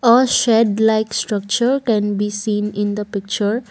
A shed like structure can be seen in the picture.